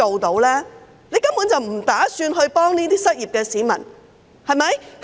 他根本不打算協助失業市民，對嗎？